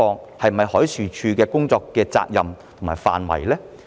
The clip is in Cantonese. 這是否海事處的工作責任及範圍？